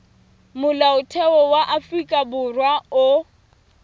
molaotheo wa afrika borwa o